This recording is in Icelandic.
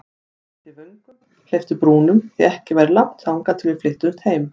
Velti vöngum, hleypti brúnum, því ekki væri langt þangað til við flyttumst heim.